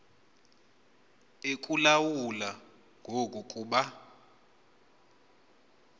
ekulawula ngoku kuba